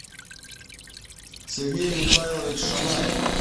сергей михайлович шанаев